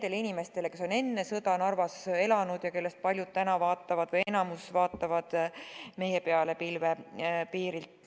Eelkõige nendele, kes on enne sõda Narvas elanud ja kellest paljud – võib-olla isegi enamik – vaatavad meie peale pilvepiirilt.